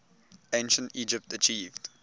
ancient egypt achieved